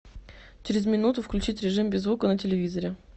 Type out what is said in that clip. через минуту включить режим без звука на телевизоре